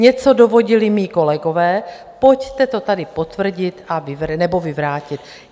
Něco dovodili mí kolegové, pojďte to tady potvrdit nebo vyvrátit.